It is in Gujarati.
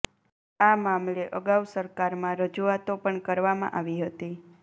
આ મામલે અગાઉ સરકારમાં રજુઆતો પણ કરવામા આવી હતી